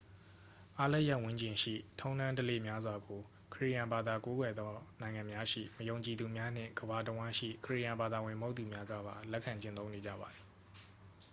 အားလပ်ရက်ဝန်းကျင်ရှိ ထုံးတမ်းဓလေ့များစွာကို ခရစ်ယာန်ဘာသာကိုးကွယ်သောနိုင်ငံများရှိ မယုံကြည်သူများနှင့် ကမ္ဘာတစ်ဝှမ်းရှိ ခရစ်ယာန်ဘာသာဝင်မဟုတ်သူများကပါ လက်ခံကျင့်သုံးနေကြပါသည်